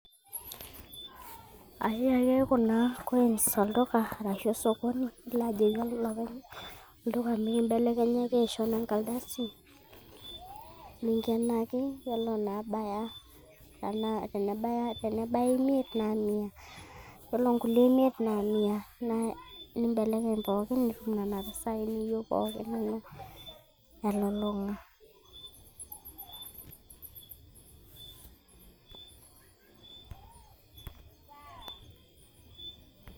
aiya ake kuna coins olduka arashu osokoni nilo ajoki olopeny olduka mekimbelekenyaki aisho nenkaldasi ninkenaki yiolo naabaya, tenebaya imiet naa mia yiolo nkuli imiet naa naa mia nimbelekeny pookin nitum nena pisai niyieu pookin elulung'a.